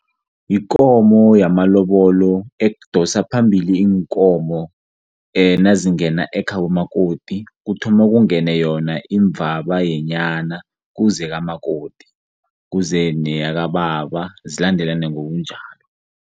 Yikomo yamalobolo edosa phambili iinkomo nazingena ekhabo makoti kuthoma kungene yona imvabayenyana kuze kamakoti, kuze neyakababa zilandelane ngokunjalo.